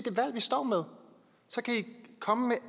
står med så kan i komme med